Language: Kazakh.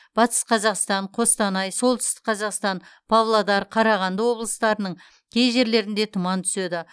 батыс қазақстан қостанай солтүстіқ қазақстан павлодар қарағанды облыстарының кей жерлерінде тұман түседі